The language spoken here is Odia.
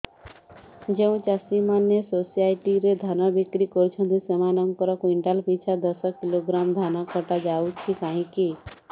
ଯେଉଁ ଚାଷୀ ମାନେ ସୋସାଇଟି ରେ ଧାନ ବିକ୍ରି କରୁଛନ୍ତି ସେମାନଙ୍କର କୁଇଣ୍ଟାଲ ପିଛା ଦଶ କିଲୋଗ୍ରାମ ଧାନ କଟା ଯାଉଛି କାହିଁକି